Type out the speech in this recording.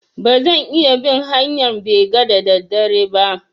Ba zan iya bin hanƴan bega da da dare ba